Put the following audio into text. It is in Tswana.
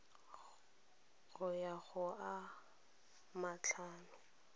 go ya go a matlhano